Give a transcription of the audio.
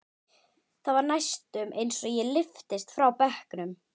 Það var næstum eins og ég lyftist frá bekknum.